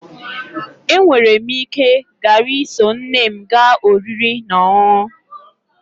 E nwere m ike ghara iso nne m gaa oriri na ọṅụṅụ